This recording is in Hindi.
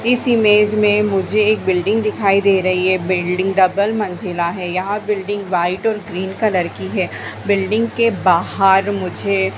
इस इमेज मे मुझे एक बिल्डिंग दिखाई दे रही है बिल्डिंग डबल मंजिला हैयहां बिल्डिंग व्हाइट और ग्रीन कलर की है। बिल्डिंग के बाहर मुझे--